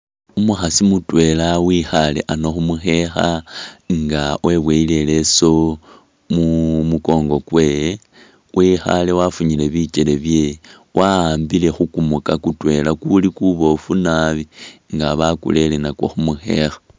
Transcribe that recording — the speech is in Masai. Umukhaasi mutwela wikhale ano khu mukhekha nga weboyele ileso mu mukongo kwewe ,wekhale wafunyile bikele byewe wa'ambile khu kumuka kutwela kuli kuboofu nabi nga bakurere nakwo khu mukhekha